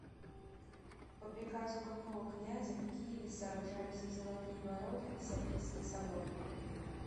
по приказу какого князя в киеве сооружались золотые ворота и софийский собор